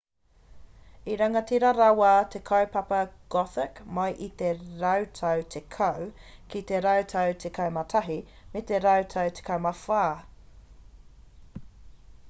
i rangatira rawa te kaupapa gothic mai i te rautau 10 ki te rautau 11 me te rautau 14